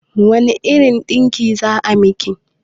Wane irin ɗinki za a miki?